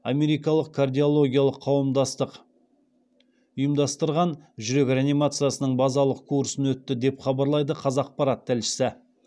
америкалық кардиологиялық қауымдастық ұйымдастырған жүрек реанимациясының базалық курсынан өтті деп хабарлайды қазақпарат тілшісі